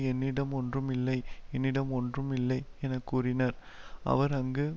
என்னிடம் ஒன்றாம் இல்லை என்னிடம் ஒன்றாம் இல்லை என கூறினர் அவர் அங்கு